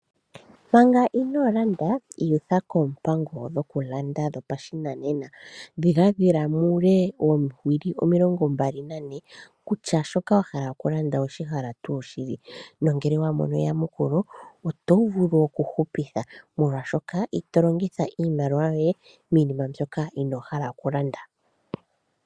Manga inoo landa iyutha koompango dhoku landa dho pashinanena. Dhiladhila muule oowili omilongo mbali nane, kutya shoka wa hala oku landa owe shihala tuu shili. Nongele wa mono eyamukulo oto vulu oku hupitha molwa shoka ito longitha iimaliwa yoye miinima mbyoka inoo hala oku landa .